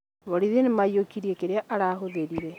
Borithi nĩmaiyũkirie kĩrĩa arahũthĩrire